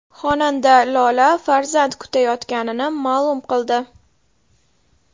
Xonanda Lola farzand kutayotganini ma’lum qildi.